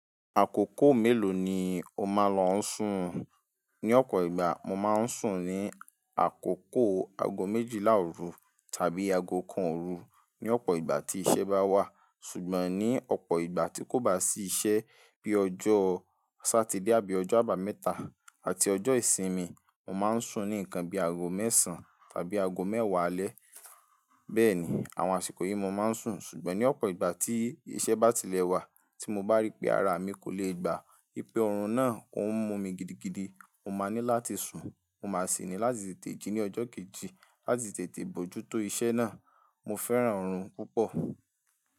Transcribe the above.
Àkókò mélòó ni o máa ń lọ sùn? Ni ọ̀pọ̀ ìgbà, mo máa ń sùn ní àkókò ago méjìlá òru tàbí ago kan òru ní ọ̀pọ̀ ìgbà tí iṣẹ́ bá wà. Ṣùgbọ́n ní ọ̀pọ̀ ìgbà tí kò bá sí iṣẹ́ bí ọjọ́ Sátidé àbí ọjọ́ àbámẹ́ta àti ọjọ́ ìsinmi, mo máa ń sùn ní nǹkan bí àróò mẹ́sàn-án àbí àgó mẹ́wàá alẹ́. Bẹ́ẹ̀ ni, àwọn àsìkò yìí mo máa ń sùn. Ṣùgbọ́n ní ọ̀pọ̀ ìgbà tí iṣẹ́ bá tilẹ̀ wà tí mo bá ríi pé ara mi kò le gbà, ìpè ọ̀run náà òún mú mi gidigidi, mo máa ní láti sùn, mo máa sì ní láti tètè jí ní ọjọ́ kejì láti tètè bojútó iṣẹ́ náà. Mo fẹ́ràn ọ̀run púpọ̀.